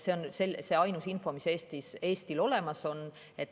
See on see ainus info, mis Eestil olemas on.